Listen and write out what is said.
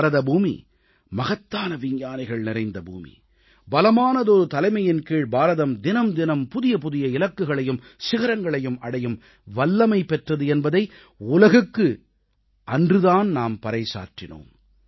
பாரதபூமி மகத்தான விஞ்ஞானிகள் நிறைந்த பூமி பலமான தலைமையின் கீழ் பாரதம் ஒவ்வொரு நாளும் புதிய புதிய இலக்குகளையும் சிகரங்களையும் அடையும் வல்லமை பெற்றது என்பதை உலகுக்கு அன்று தான் நாம் பறைசாற்றினோம்